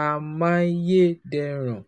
amáyédẹrùn.